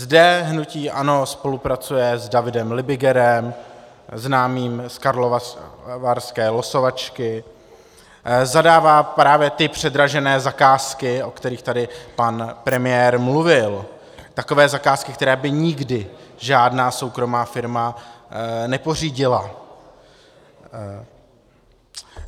Zde hnutí ANO spolupracuje s Davidem Libigerem, známým z karlovarské losovačky, zadává právě ty předražené zakázky, o kterých tady pan premiér mluvil, takové zakázky, které by nikdy žádná soukromá firma nepořídila.